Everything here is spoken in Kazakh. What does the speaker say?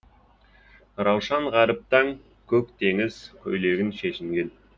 раушан ғаріп таң көк теңіз көйлегін шешінген